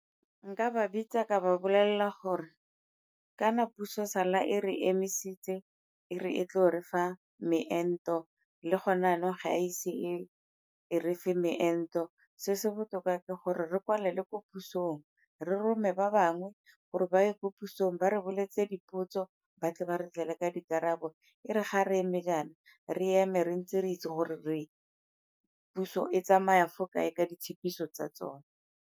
Nka ba bitsa ka ba bolelela gore kana puso sala e re emisitse, e re tlo re fa meento le gone yanong ga a ise e e re fe meento. Se se botoka ka gore re kwalela ko pusong re rome ba bangwe gore ba ye ko pusong ba re boletse dipotso ba tle ba re tlele ka dikarabo e re ga re eme jaana, re eme re ntse re itse gore puso e tsamaya fo kae ka ditshepiso tsa tsone.